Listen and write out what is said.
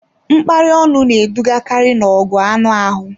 Mkparị ọnụ na-edugakarị n'ọgụ anụ ahụ